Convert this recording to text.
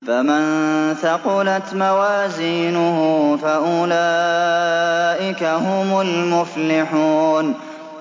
فَمَن ثَقُلَتْ مَوَازِينُهُ فَأُولَٰئِكَ هُمُ الْمُفْلِحُونَ